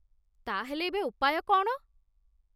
ତା'ହେଲେ, ଏବେ ଉପାୟ କ'ଣ?